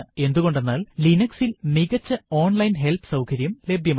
എന്തുകൊണ്ടെന്നാൽ Linux ൽ മികച്ച ഓൺലൈൻ ഹെല്പ് സൌകര്യം ലഭ്യമാണ്